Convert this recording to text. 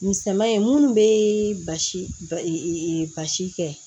Misɛnman ye minnu bɛ basi basi kɛ